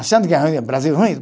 Achando que Brasil é ruim?